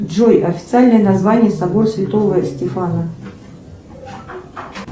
джой официальное название собор святого стефана